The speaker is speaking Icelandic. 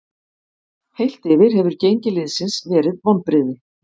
Heilt yfir hefur gengi liðsins verið vonbrigði.